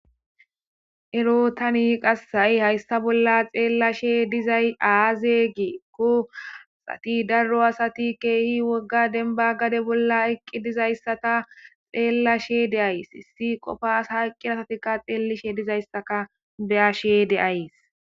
ero tani qassai haysta bolla xeellashe dizay aazegii kuasati darro asati keehi wogga denba gade bolla eqqi dizayssata xeellashe de ays issi qofas hayqqir asatika xeellishe dizayssaka beashe deays